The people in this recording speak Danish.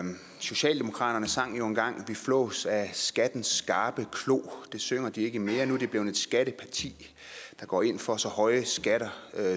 socialdemokratiet sang jo engang vi flås af skattens skarpe klo det synger de ikke mere nu er de blevet et skatteparti der går ind for så høje skatter